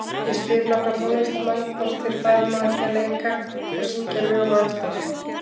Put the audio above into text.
Ég spyr nokkra tónlistarmenn, hvort þeir fari nú ekki að leika og syngja lög eftir